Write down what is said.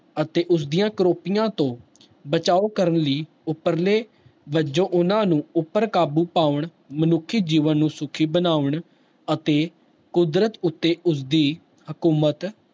ਅਤੇ ਉਸਦੀਆਂ ਕੋਰੋਪੀਆਂ ਤੋਂ ਬਚਾਓ ਕਰਨ ਲਈ ਉਪਰਲੇ ਵਜੋਂ ਉਹਨਾਂ ਨੂੰ ਉੱਪਰ ਕਾਬੂ ਪਾਉਣ ਮਨੁੱਖੀ ਜੀਵਨ ਨੂੰ ਸੁੱਖੀ ਬਣਾਉਣ ਅਤੇ ਕੁਦਰਤ ਉੱਤੇ ਉਸਦੀ ਹਕੂਮਤ